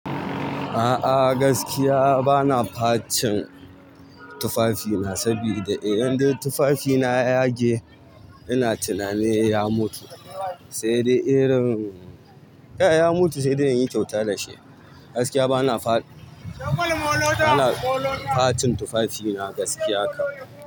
A'a gaskiya bana facin tufafina, sabida idan dai tufafina ya yage ina tunanin ya mutu, sai dai irin kai ya mutu sai dai in yi kyauta da shi. Gaskiya bana fat, bana facin tufafina gaskiya kan.